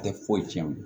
A tɛ foyi tiɲɛ o